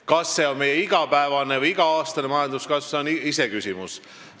Kas see on meie igapäevane või iga-aastane majanduskasv, see on iseküsimus.